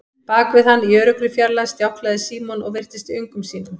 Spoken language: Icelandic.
Bak við hann, í öruggri fjarlægð, stjáklaði Símon og virtist í öngum sínum.